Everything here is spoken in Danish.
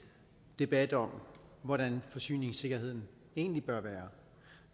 debat om hvordan forsyningssikkerheden egentlig bør være